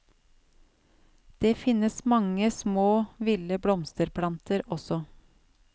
Det finnes mange små ville blomsterplanter også.